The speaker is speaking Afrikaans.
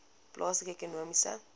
plaaslike ekonomiese